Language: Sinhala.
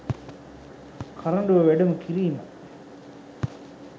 කරඬුව වැඩම කිරීම